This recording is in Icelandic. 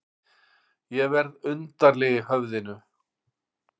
Ég verð undarleg í höfðinu.